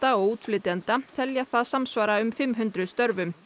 og útflytjenda telja það samsvara um fimm hundruð störfum